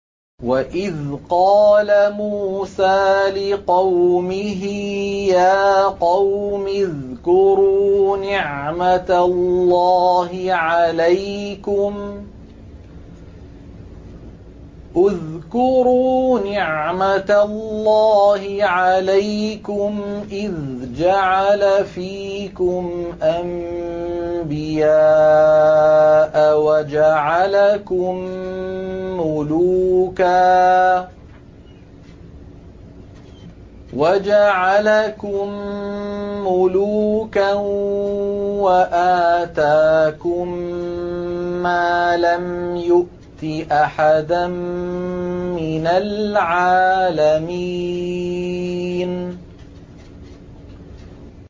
وَإِذْ قَالَ مُوسَىٰ لِقَوْمِهِ يَا قَوْمِ اذْكُرُوا نِعْمَةَ اللَّهِ عَلَيْكُمْ إِذْ جَعَلَ فِيكُمْ أَنبِيَاءَ وَجَعَلَكُم مُّلُوكًا وَآتَاكُم مَّا لَمْ يُؤْتِ أَحَدًا مِّنَ الْعَالَمِينَ